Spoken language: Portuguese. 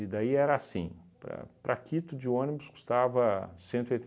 E daí era assim, para para Quito de ônibus custava cento e